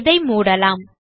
இதை மூடலாம்